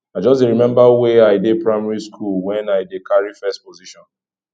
i just dey remember when i dey primary school when i dey carry first position